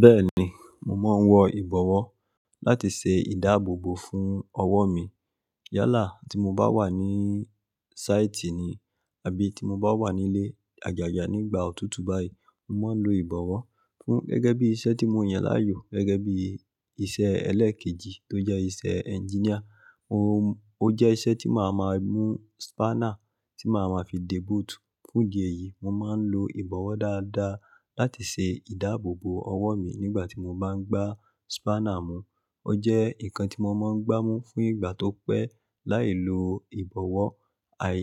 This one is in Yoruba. Bẹ́ẹ̀ni, mo máa ń wọ ìbọ̀wọ́ láti ṣe ìdáàbòbò fún ọwọ́ mi. Yálà tí mo bá wà ní sáìtì ni àbí tí mo bá wà nílé àjàjà nígbà òtútù báyìí, mo máa ń lo ìbọ̀wọ́ fún gẹ́gẹ́ bí iṣẹ́ tí mo yàn láàyò gẹ́gẹ́ bí iṣẹ́ ẹlẹ́ẹ̀kejì tó jẹ́ iṣẹ́ ẹnginíà. Ó jẹ́ iṣẹ́ tí màá ma mú spánà tí màá ma fi dé bootù. Fún idi eyìí, mo máa ń lo ìbọ̀wọ́ dáadáa láti ṣe ìdáàbòbò ọwọ́ mi nígbà tí mo bá ń gbá spánà mú. Ó jẹ́ nǹkan tí mo máa ń gbámú fún ìgbà tó pẹ́ láì lo ìbọ̀wọ́. Àì,